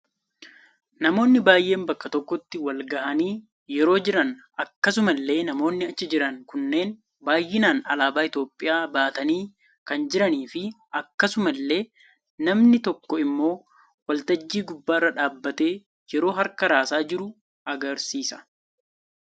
Namoonni baayeen bakka tokkotti wal gahaanii yeroo jiran akkasuma illee namoonni achi jiran kunneen baayinaan alaabaa itoophiyaa baatanii kan jiranii fi akkasuma illee namni tokko immoo waltajjii gubbaarra dhaabatee yeroo harkaa raasaa jiru agarsiisa.